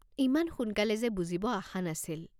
ইমান সোনকালে যে বুজিব আশা নাছিল।